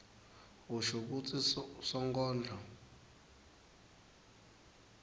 usho kutsi sonkondlo